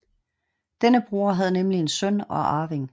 Denne bror havde nemlig en søn og arving